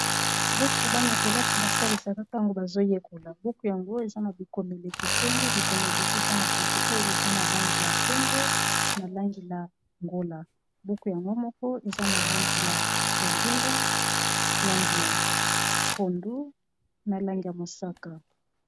Buku bana kelasi basalisaka ntango bazoyekola buku yango eza na bikomelekeseni bikomeli eza na buku oyo eza na langi ya pembe na langi ya ngola buku yango moko eza na langi ya bozinga na langi ya pondu na langi ya mosaka